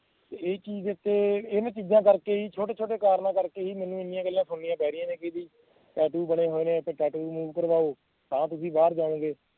ਤੇ ਇਹ ਚੀਜ਼ ਏ ਉੱਤੇ ਇਹੀ ਚੀਜ਼ਾਂ ਕਰਕੇ ਹੀ ਛੋਟੇ ਛੋਟੇ ਕਾਰਨਾਂ ਕਰਕੇ ਹੀ ਮੈਂਨੂੰ ਏਨੀਆਂ ਗੱਲਾਂ ਸੁਣਿਆ ਪੈ ਰਹੀਆਂ ਨੇ ਕਿ ਬਈ tattoo ਬਣੇ ਹੋਏ ਨੇ ਤੇ tattoo remove ਕਰਵਾਓ ਤਾਂ ਤੁਸੀਂ ਬਾਹਰ ਜਜਾਉਂਗੇ